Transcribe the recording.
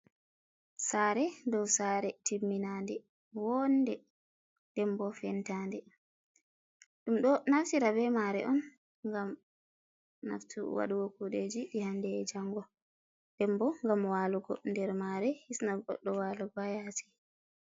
Sare do sare timmina de wonde dembo fentande, ɗum ɗo naftira be mare on gam wadugo kuɗeji ɗi hande ejango, dembo gam walugo nder mare hisnagoɗɗo walugo hayasi.